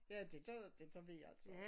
Ja det gør jeg det gør vi alle sammen